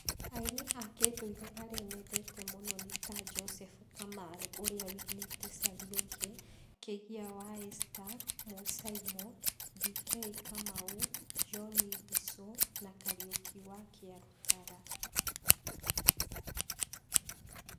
Aini a kĩndũire arĩa nyendete mũno nĩ ta; Joseph Kamarũ ũrĩa wĩinĩte 'Caria ũngĩ',Kĩgia wa Esther, Mũsaimo,D.K Kamau, John Ndichũ na Kariũki wa Kĩarũtara.